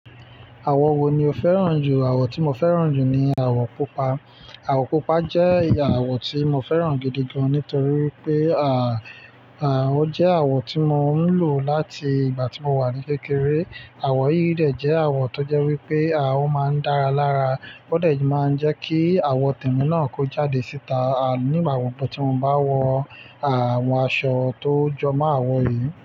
Àwọ̀ wo ni o fẹ́ràn jù? Àwọ̀ tí mo fẹ́ràn jù ni àwọ̀ pupa. Àwọ̀ pupa jẹ́ àwọ̀ tí mo fẹ́ràn gidi gan nítorí wípé, ó jẹ́ àwọ̀ tí mo ń lò láti ìgbà tí mo wà ní kékeré. Àwọ̀ yìíyìí dẹ̀ jẹ́ àwọ̀ tó jẹ́ wípé ó máa ń dára lára. Ó dee tún máa ń jẹ́ kí àwọ̀ tìme náà kó jáde síta nígbà gbogbo tí mo bá wọ àwọn aṣọ tó jọmọ̀ àwọ̀ eyìí.